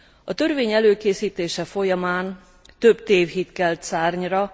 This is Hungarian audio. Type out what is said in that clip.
A törvény előkészítése folyamán több tévhit kelt szárnyra.